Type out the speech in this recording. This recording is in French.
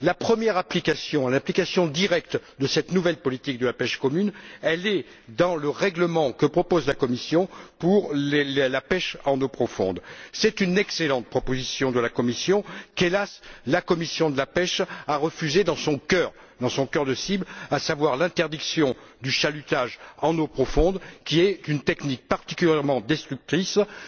La première application, l'application directe de cette nouvelle politique commune de la pêche est dans le règlement que propose la Commission pour la pêche en eaux profondes. C'est une excellente proposition de la Commission que, hélas, la commission de la pêche a refusée, dans son cœur de cible, à savoir l'interdiction du chalutage en eaux profondes, qui est une technique particulièrement destructrice comme